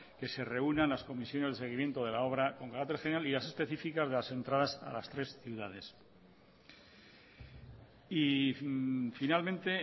que se reúnan las comisiones de seguimiento de la obra con carácter general y más específica de las entradas a las tres ciudades finalmente